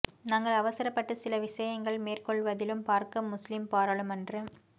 நாங்கள் அவசரப்பட்டு சில விடயங்களை மேற் கொள்வதிலும் பார்க்க முஸ்லிம் பாராளுமன்ற